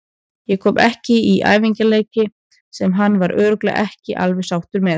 Ég kom ekki í æfingaleiki sem hann var örugglega ekki alveg sáttur með.